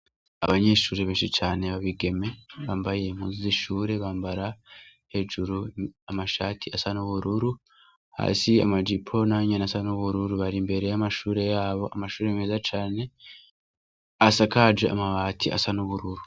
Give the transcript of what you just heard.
Abanyishuri benshi cane babigeme bambaye muza ishure bambara hejuru amashati asa n'ubururu hasi amajipo nanyene asa n'ubururu bari imbere y'amashure yabo amashure meza cane asakaje amabati asa n'ubururu.